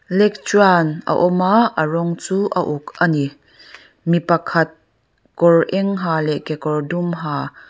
lectern a awm a a rawng chu a uk ani mi pakhat kawr eng ha leh kekawr dum ha--